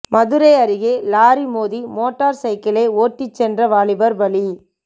மதுரை அருகே லாரி மோதி மோட்டார் சைக்கிளை ஓட்டிச் சென்ற வாலிபர் பலி